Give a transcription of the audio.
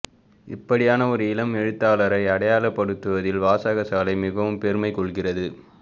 இப்படியான ஒரு இளம் எழுத்தாளரை அடையாளப்படுத்துவதில் வாசகசாலை மிகவும் பெருமை கொள்கிறது